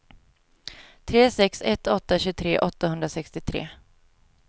tre sex ett åtta tjugotre åttahundrasextiotre